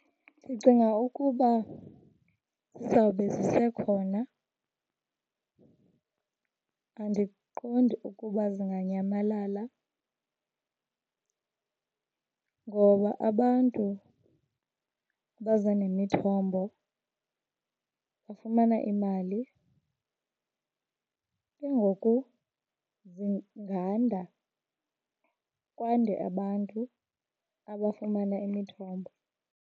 Ndicinga ukuba zizawube zisekhona. Andiqondi ukuba zinganyamalala ngoba abantu abaza nemithombo bafumana imali, ke ngoku zinganda kwande abantu abafumana imithombo.